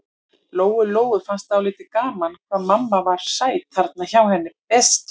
Lóu-Lóu fannst dálítið gaman hvað mamma var sæt þarna hjá henni Bertu.